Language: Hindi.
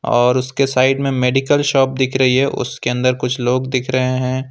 और उसके साइड में मेडिकल शॉप दिख रही है उसके अंदर कुछ लोग दिख रहे हैं।